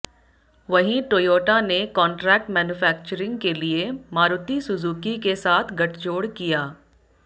वहीं टोयोटा ने contract manufacturing के लिए मारुति सुजुकी के साथ गठजोड़ किया